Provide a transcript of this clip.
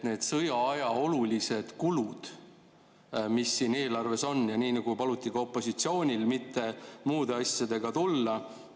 Need sõjaaja olulised kulud siin eelarves on, ja paluti ka opositsioonil ju mitte muude asjadega tulla.